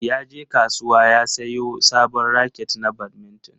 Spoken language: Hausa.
Yaje kasuwa ya siyo sabon raket na badminton.